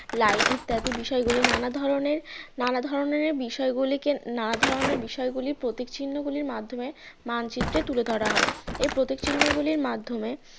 line ইত্যাদি বিষয়গুলি নানা ধরনের নানা ধরনের বিষয়গুলিকে নানা ধরনের বিষয়গুলি প্রতীক চিহ্নগুলির মাধ্যমে মানচিত্রে তুলে ধরা হয় এর প্রতীক চিহ্ন গুলির মাধ্যমে